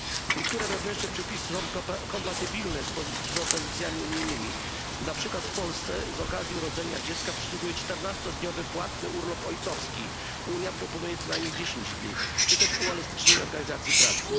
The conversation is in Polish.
Niektóre wewnętrzne przepisy są kompatybilne z propozycjami unijnymi, na przykład w Polsce z okazji urodzenia dziecka przysługuje czternastodniowy płatny urlop ojcowski, Unia proponuje co najmniej dziesięć dni czy też uelastycznienie organizacji pracy.